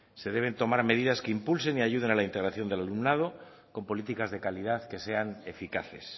se deben tomar medidas que impulsen y ayuden a la integración del alumnado con políticas de calidad que sean eficaces